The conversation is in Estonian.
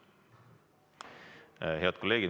Head kolleegid!